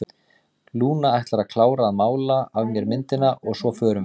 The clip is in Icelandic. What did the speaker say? Lúna ætlar að klára að mála af mér myndina og svo förum við.